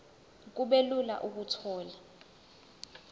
kube lula ukuthola